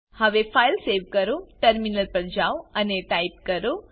હવે file save કરો terminal પર જાઓ અને ટાઈપ કરો